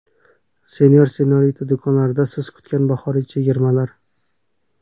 Senor&Senorita do‘konlarida siz kutgan bahoriy chegirmalar!.